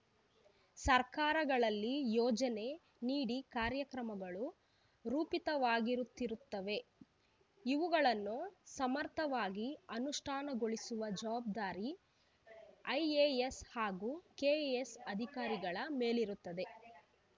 ಸರ್ಕಾರಗಳಲ್ಲಿ ಯೋಜನೆ ನೀತಿ ಕಾರ್ಯಕ್ರಮಗಳು ರೂಪಿತವಾಗುತ್ತಿರುತ್ತವೆ ಇವುಗಳನ್ನು ಸಮರ್ಥವಾಗಿ ಅನುಷ್ಠಾನಗೊಳಿಸುವ ಜವಾಬ್ದಾರಿ ಐಎಎಸ್‌ ಹಾಗೂ ಕೆಎಎಸ್‌ ಅಧಿಕಾರಿಗಳ ಮೇಲಿರುತ್ತದೆ